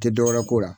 Tɛ dɔwɛrɛ ko la